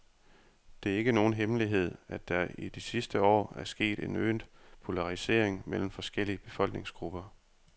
Det er ikke nogen hemmelighed, at der i de sidste år er sket en øget polarisering mellem forskellige befolkningsgrupper.